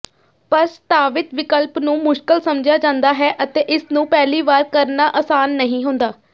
ਪ੍ਰਸਤਾਵਿਤ ਵਿਕਲਪ ਨੂੰ ਮੁਸ਼ਕਲ ਸਮਝਿਆ ਜਾਂਦਾ ਹੈ ਅਤੇ ਇਸਨੂੰ ਪਹਿਲੀ ਵਾਰ ਕਰਨਾ ਆਸਾਨ ਨਹੀਂ ਹੁੰਦਾ